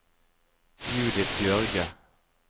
Judith Bjørge